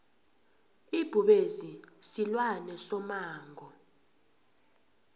ibhubezi silwane somango